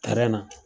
na